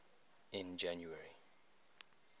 in january